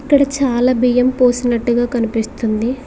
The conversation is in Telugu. ఇక్కడ చాలా బియ్యం పోసినట్టుగా కనిపిస్తుంది.